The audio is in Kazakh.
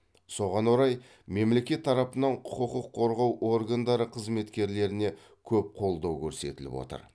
соған орай мемлекет тарапынан құқықық қорғау органдары қызметкерлеріне көп қолдау көрсетіліп отыр